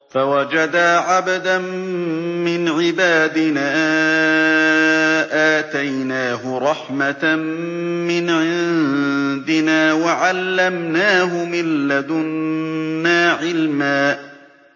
فَوَجَدَا عَبْدًا مِّنْ عِبَادِنَا آتَيْنَاهُ رَحْمَةً مِّنْ عِندِنَا وَعَلَّمْنَاهُ مِن لَّدُنَّا عِلْمًا